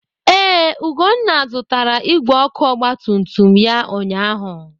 Ee, Ugonna zụtara igwe ọkụ ọgbatumtum ya ụnyaahụ.